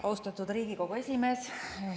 Austatud Riigikogu esimees!